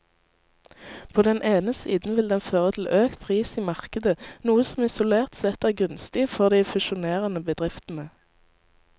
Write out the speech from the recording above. På den ene siden vil den føre til økt pris i markedet, noe som isolert sett er gunstig for de fusjonerende bedriftene.